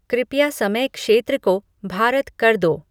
कृपया समय क्षेत्र को भारत कर दो